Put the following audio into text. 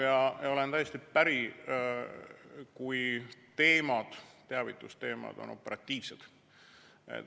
Jaa, olen täiesti päri, kui teavitusteemad on operatiivsed.